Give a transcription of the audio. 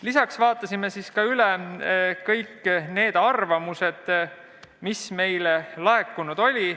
Lisaks vaatasime üle kõik arvamused, mis olid meile laekunud.